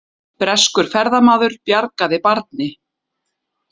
Breskur ferðamaður bjargaði barni